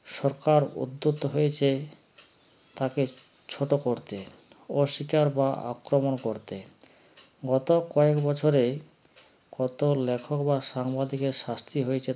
সরকার উদ্যত হয়েছে তাকে ছোটো করতে অস্বীকার বা আক্রমণ করতে গত কয়েক বছরে কত লেখক বা সাংবাদিকের শাস্তি হয়েছে